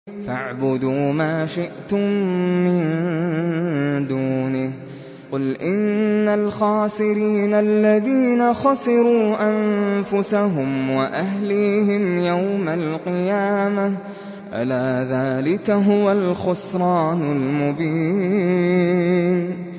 فَاعْبُدُوا مَا شِئْتُم مِّن دُونِهِ ۗ قُلْ إِنَّ الْخَاسِرِينَ الَّذِينَ خَسِرُوا أَنفُسَهُمْ وَأَهْلِيهِمْ يَوْمَ الْقِيَامَةِ ۗ أَلَا ذَٰلِكَ هُوَ الْخُسْرَانُ الْمُبِينُ